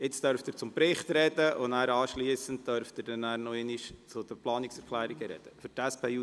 Jetzt dürfen Sie zum Bericht sprechen und danach zu den Planungserklärungen sprechen.